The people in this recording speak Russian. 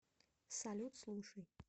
салют слушай